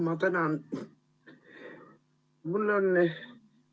Ma tänan!